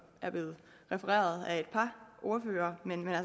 er blevet refereret af et par ordførere